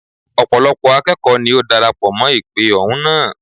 Ọ̀pọ̀lọ́pọ̀ akẹ́kọ̀ọ́ ní ó darapọ̀ mọ́ ìpè ohùn náà.